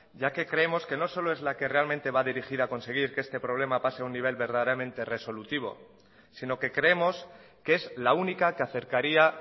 ya que creemos que no solo es la que realmente va a dirigir a conseguir que este problema pase a un nivel verdaderamente resolutivo sino que creemos que es la única que acercaría